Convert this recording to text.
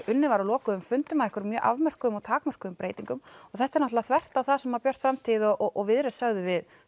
unnið var á lokuðum fundum að einhverjum afmörkuðum og takmörkuðum breytingum og þetta er náttúrulega þvert á það sem Björt framtíð og Viðreisn sögðu við